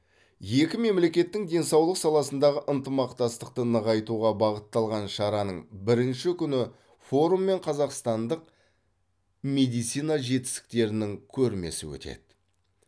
екі мемлекеттің денсаулық саласындағы ынтымақтастықты нығайтуға бағытталған шараның бірінші күні форум мен қазақстандық медицина жетістіктерінің көрмесі өтеді